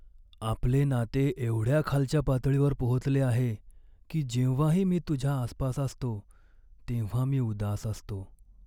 आपले नाते एवढ्या खालच्या पातळीवर पोहोचले आहे की जेव्हाही मी तुझ्या आसपास असतो तेव्हा मी उदास असतो.